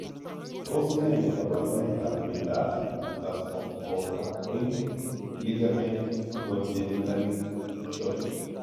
Tos ne kaborunoikab miondop costocoracoid ligament congenitally short?